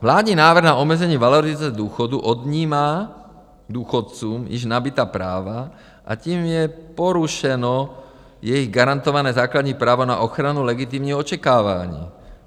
Vládní návrh na omezení valorizace důchodů odnímá důchodcům již nabytá práva a tím je porušeno jejich garantované základní právo na ochranu legitimního očekávání.